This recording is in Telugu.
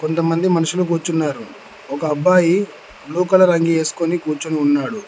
కొంతమంది మనుషులకు కూర్చున్నారు ఒక అబ్బాయి బ్లూ కలర్ రంగుఅంగీ ఏసుకొని కూర్చుని ఉన్నాడు.